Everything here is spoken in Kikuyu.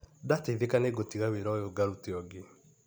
Ndateithĩka nĩngũtiga wĩra ũyũ ngarute ũngĩ.